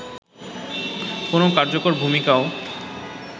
কোন কার্যকর ভুমিকাও